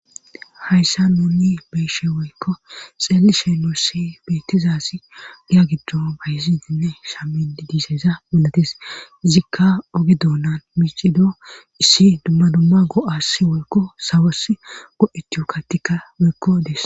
Hayssa nuni beyshe woykko xeeli shenosi bettizasi giya giddo bayzidinne shami diiseza mulates izikka ogi doonan miicido issi dumma dumma go7as woykko sawas go7etuyo kattikka woykko des